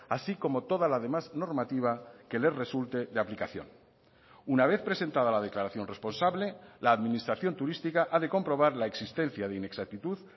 así como toda la demás normativa que le resulte de aplicación una vez presentada la declaración responsable la administración turística ha de comprobar la existencia de inexactitud